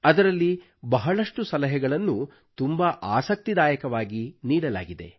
ಅದರಲ್ಲಿ ಬಹಳಷ್ಟು ಸಲಹೆಗಳನ್ನು ತುಂಬಾ ಆಸಕ್ತಿದಾಯಕವಾಗಿ ನೀಡಲಾಗಿದೆ